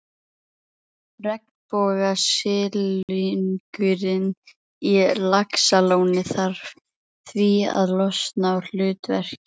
Regnbogasilungurinn í Laxalóni þarf því að losna úr hlutverkinu í